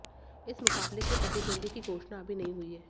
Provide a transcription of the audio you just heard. इस मुकाबले के प्रतिद्वंद्वी की घोषणा अभी नहीं हुई है